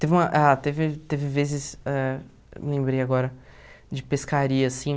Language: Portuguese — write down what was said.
Teve uma... Ah, teve... Teve vezes ãh... Lembrei agora de pescaria, assim.